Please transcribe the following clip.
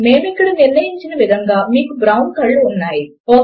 మేము ఇక్కడ నిర్ణయించిన విధముగానే మీకు బ్రౌన్ కళ్ళు ఉన్నాయి